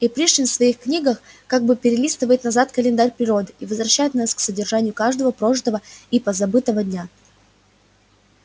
и пришвин в своих книгах как бы перелистывает назад календарь природы и возвращает нас к содержанию каждого прожитого и позабытого дня